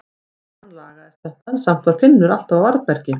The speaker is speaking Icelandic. Smám saman lagaðist þetta en samt var Finnur alltaf á varðbergi.